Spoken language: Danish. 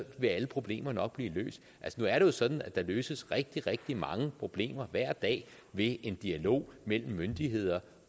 vil alle problemer nok blive løst nu er det jo sådan at der løses rigtig rigtig mange problemer hver dag ved en dialog mellem myndigheder